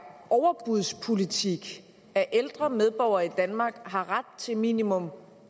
overbudspolitik at ældre medborgere i danmark har ret til minimum